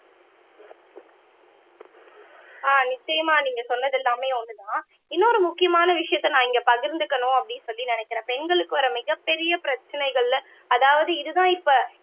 ஆஹ் நிச்சயமா நீங்க சொன்னது எல்லாமே ஒண்ணுதான் இன்னொரு முக்கியமான விஷயத்த நான் இங்க பகிர்ந்துக்கணும் அப்படின்னு சொல்லி நினைக்கிறேன் பெண்களுக்கு ஒரு மிகப் பெரிய பிரச்சனைகள்ல அதாவது இதுதான் இப்ப